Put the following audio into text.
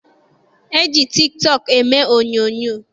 E ji tiki tọọkụ eme onyoonyoo.